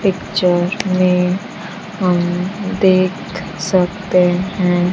एक चौक में हम देख सकते हैं।